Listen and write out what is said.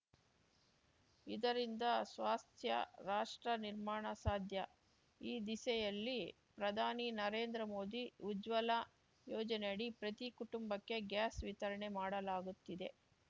ಇದರಿಂದ ಸ್ವಾಸ್ಥ್ಯ ರಾಷ್ಟ್ರ ನಿರ್ಮಾಣ ಸಾಧ್ಯ ಈ ದಿಸೆಯಲ್ಲಿ ಪ್ರಧಾನಿ ನರೇಂದ್ರ ಮೋದಿ ಉಜ್ವಲ ಯೊಜನೆಯಡಿ ಪ್ರತಿ ಕುಟುಂಬಕ್ಕೆ ಗ್ಯಾಸ್‌ ವಿತರಣೆ ಮಾಡಲಾಗುತ್ತಿದೆ